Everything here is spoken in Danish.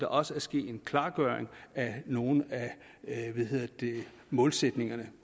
også er sket en klargøring af nogle af målsætningerne